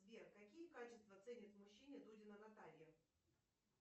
сбер какие качества ценит в мужчине дудина наталья